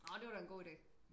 Nåh det var da en god ide